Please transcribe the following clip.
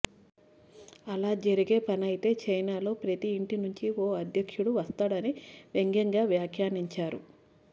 అలా జరిగే పనైతే చైనాలో ప్రతీ ఇంటి నుంచి ఓ అధ్యక్షుడు వస్తాడని వ్యంగ్యంగా వ్యాఖ్యానించారు